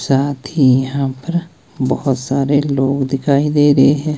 साथ ही यहां पर बहुत सारे लोग दिखाई दे रहे हैं।